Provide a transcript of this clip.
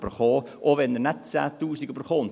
Dies auch dann, wenn er keine 10 000 Franken erhält.